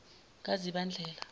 kazibandlela